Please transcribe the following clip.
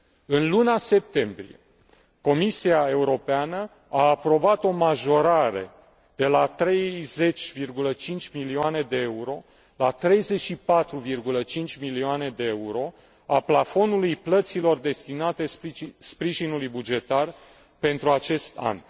În luna septembrie Comisia Europeană a aprobat o majorare de la 30,5 milione de euro la 34,5 milioane de euro a plafonului plăților destinate sprijinului bugetar pentru acest an.